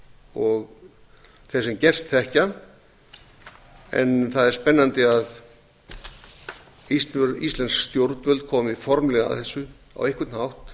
og þeir sem gerst þekkja en það er spennandi að íslensk stjórnvöld komi formlega að þessu á einhvern hátt